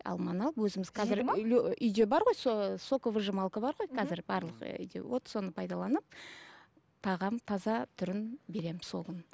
алманы алып өзіміз үйде барғой соковыжималка бар ғой қазір барлық үйде вот соны пайдаланып тағам таза түрін беремін